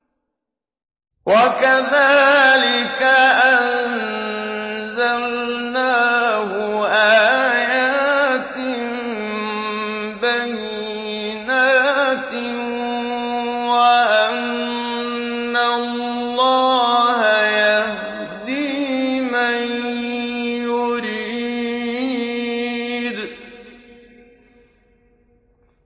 وَكَذَٰلِكَ أَنزَلْنَاهُ آيَاتٍ بَيِّنَاتٍ وَأَنَّ اللَّهَ يَهْدِي مَن يُرِيدُ